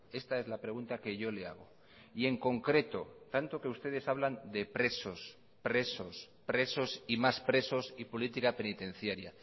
esta es la pregunta que yo le hago y en concreto tanto que ustedes hablan de presos presos presos y más presos y política penitenciaria